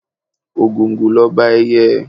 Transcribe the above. Ògòǹgò l'Ọba ẹyẹ.